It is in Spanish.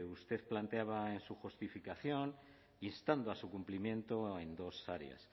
usted planteaba en su justificación instando a su cumplimiento en dos áreas